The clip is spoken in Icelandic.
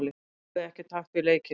Náði ekki takt við leikinn.